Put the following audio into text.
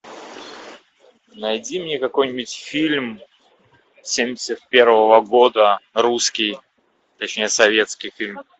найди мне какой нибудь фильм семьдесят первого года русский точнее советский фильм